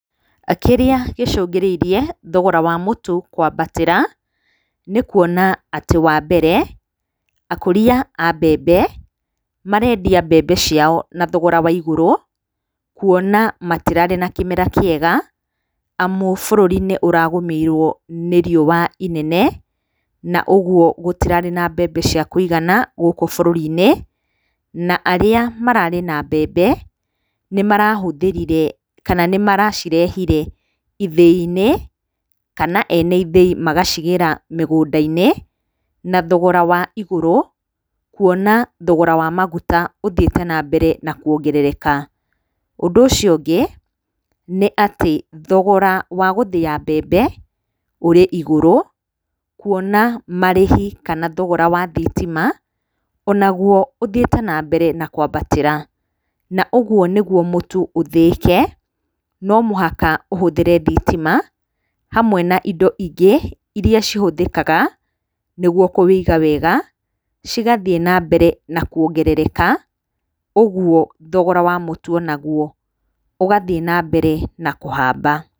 Kĩrĩa gĩcũngĩrĩirie thogora wa mũtu kwambatĩra, nĩ kuona atĩ wa mbere, akũria a mbembe, marendia mbembe ciao na thogora wa igũrũ, kuona matirarĩ na kĩmera kĩega, amu bũrũri nĩ ũragũmĩirwo nĩ riũa ĩnene, na ũguo gũtirarĩ na mbembe cia kũigana gũkũ bũrũri-inĩ na arĩa mararĩ na mbembe, nĩ marahũthĩrire kana nĩ maracirehire ithĩ-inĩ kana ene ithĩi magacigĩra mĩgũnda-inĩ, na thogora wa igũrũ, kuona thogora wa maguta ũthiĩte na mbere na kuongerereka. Ũndũ ũcio ũngĩ, nĩ atĩ thogora wa gũthĩa mbembe, ũrĩ igũrũ kuona marĩhi kana thogora wa thitima, o naguo ũthiĩte na mbere na kwambatĩra. Na ũguo nĩguo mũtu ũthĩĩke, no mũhaka ũhũthĩre thitima hamwe na indo ingĩ iria cihũthĩkaga, nĩguo kũũiga wega, cigathiĩ na mbere na kuongerereka, ũguo thogora wa mũtu o naguo ũgathiĩ na mbere na kũhamba.